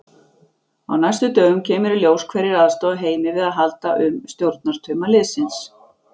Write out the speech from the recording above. Á næstu dögum kemur í ljós hverjir aðstoða Heimi við að halda um stjórnartauma liðsins.